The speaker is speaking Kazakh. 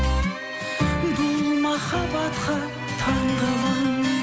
бұл махабатқа таңғаламын